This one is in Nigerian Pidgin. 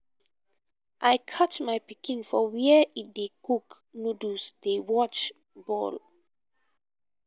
i catch my pikin for where he dey cook noodles dey watch ball